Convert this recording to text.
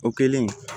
O kɛlen